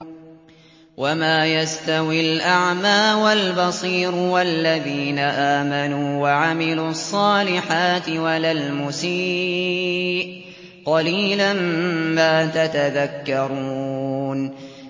وَمَا يَسْتَوِي الْأَعْمَىٰ وَالْبَصِيرُ وَالَّذِينَ آمَنُوا وَعَمِلُوا الصَّالِحَاتِ وَلَا الْمُسِيءُ ۚ قَلِيلًا مَّا تَتَذَكَّرُونَ